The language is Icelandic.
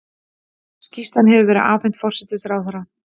Skýrslan hefur verið afhent forsætisráðherra